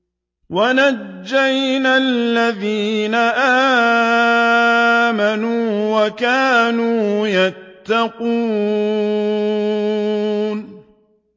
وَنَجَّيْنَا الَّذِينَ آمَنُوا وَكَانُوا يَتَّقُونَ